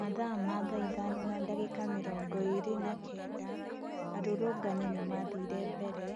Mathaa ma thaa ithano na ndagĩka mĩrongo ĩĩrĩ na kenda, arũrũrũngani nĩmathire mbere